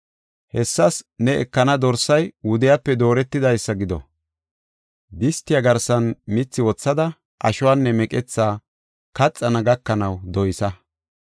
Hessas ne ekana dorsay wudiyape dooretidaysa gido. Distiya garsan mithi wothada ashuwanne meqetha kaxana gakanaw doysa.”